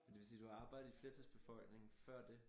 Men det vil sige du har arbejdet i flertalsbefolkningen før det?